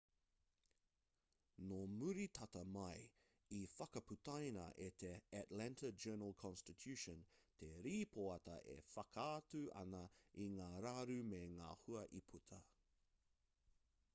nō muri tata mai i whakaputaina e te atlanta journal-consitution te rīpoata e whakaatu ana i ngā raru me ngā hua i puta